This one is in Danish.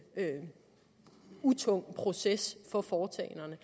tung proces for foretagenderne